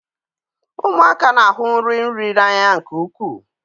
Ụmụaka na-ahụ nri nri n'anya nke ukwuu.